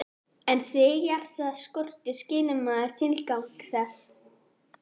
En þegar það skortir skilur maður tilgang þess.